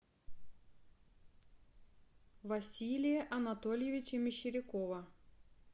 василия анатольевича мещерякова